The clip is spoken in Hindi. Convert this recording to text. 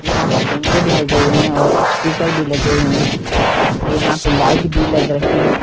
यहाँ पे कैमरे भी लगे हुए हैं और स्‍पीकर भी लगे हुए हैं और यहाँ पे लाईट भी लग रखी हैं।